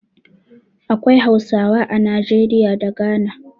Akwai Hausawa a Najeriya da Ghana.